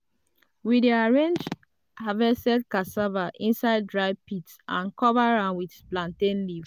we dey arrange harvested cassava inside dry pit and cover am with plantain leaf.